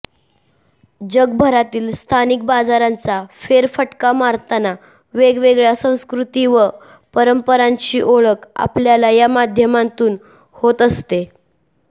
जगभरातील स्थानिक बाजारांचा फेरफटका मारताना वेगवेगळ्या संस्कृती व परंपरांची ओळख आपल्याला या माध्यमातून होत असते